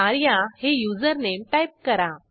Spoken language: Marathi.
आर्या हे युजरनेम टाईप करा